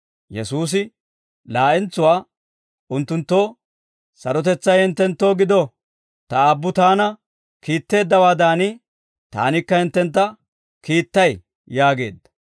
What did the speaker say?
Yesuusi laa'entsuwaa unttunttoo, «Sarotetsay hinttenttoo gido; Ta Aabbu Taana kiitteeddawaadan, Taanikka hinttentta kiittay» yaageedda.